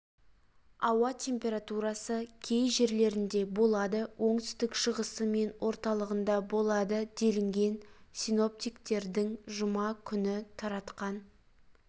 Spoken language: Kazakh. ауа температурасы кей жерлерінде болады оңтүстік шығысы мен орталығында болады делінген синоптиктердің жұма күні таратқан